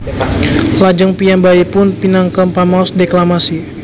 Lajeng piyambakipun minangka pamaos deklamasi